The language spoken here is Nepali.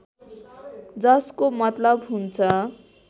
जसको मतलब हुन्छ